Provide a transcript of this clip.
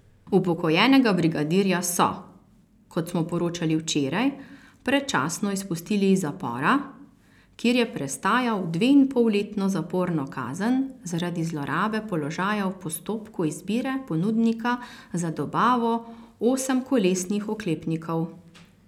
Upokojenega brigadirja so, kot smo poročali včeraj, predčasno izpustili iz zapora, kjer je prestajal dveinpolletno zaporno kazen zaradi zlorabe položaja v postopku izbire ponudnika za dobavo osemkolesnih oklepnikov.